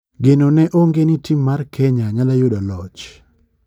Geno ne onge ni tim mar Kenya nyalo yudo loch.